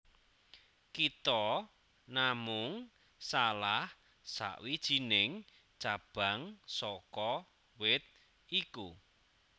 Kita namung salah sawijining cabang saka wit iku